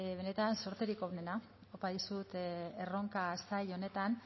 benetan zorterik onena opa dizut erronka zail honetan